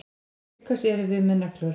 Til hvers erum við með neglur?